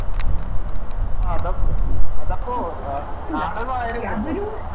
ആ അതപ് അതപ്പോ നാടകവാരുന്നില്ലല്ലേ